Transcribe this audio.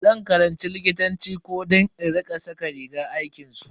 Zan karanci likitanci ko don in rika saka rigar aikinsu.